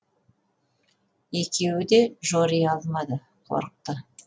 екеуі де жори алмады қорықты